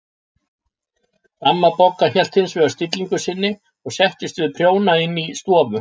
Amma Bogga hélt hins vegar stillingu sinni og settist við prjóna inn í stofu.